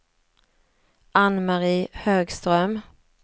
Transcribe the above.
Anne-Marie Högström